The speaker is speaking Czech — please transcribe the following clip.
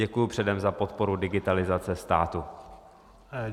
Děkuji předem za podporu digitalizace státu.